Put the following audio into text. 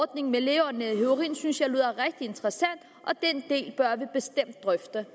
ordningen med lægeordineret heroin synes jeg lyder rigtig interessant og den del bør vi bestemt drøfte